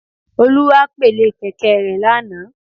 Olú wá pèlé kèké e re lánàá